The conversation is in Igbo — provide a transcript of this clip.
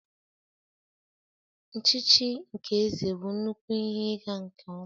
Nchichi nke eze bụ nnukwu ihe ịga nke ọma